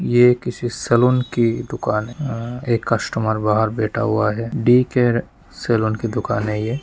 यह किसी सालून की दुकान हैआ एक कस्टमर बाहर बैठा हुआ है दी केयर सालून की दुकान है ये--